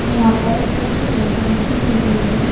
यहाँ पर कुछ डेकोरेशन की गई है।